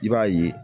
I b'a ye